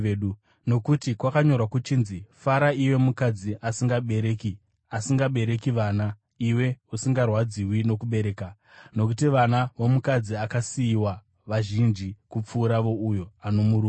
Nokuti kwakanyorwa kuchinzi: “Fara iwe mukadzi asingabereki, asingabereki vana; pembera udanidzire, iwe usingarwadziwi nokubereka; nokuti vana vomukadzi akasiyiwa vazhinji kupfuura vouyo ano murume.”